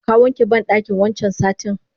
Ka wanke bandakin wancan satin?